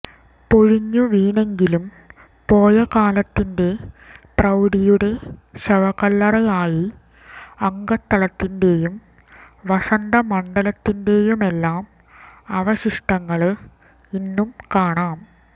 പൊളിഞ്ഞു വീണെങ്കിലും പോയകാലത്തിന്റെ പ്രൌഢിയുടെ ശവക്കല്ലറയായി അകത്തളത്തിന്റെയും വസന്തമണ്ഡപത്തിന്റെയുമെല്ലാം അവശിഷ്ടങ്ങള് ഇന്നും കാണാം